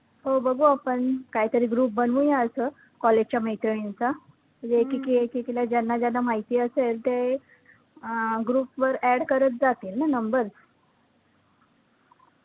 हो बघू आपण काही तरी group बनूया असं college च्या मैत्रिणींचा, जे एकेकी ऐकींला ज्यांना ज्यांना माहिती असेल ते अं group वर add करत जातील ना numbers